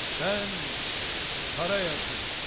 mən Qarayazı.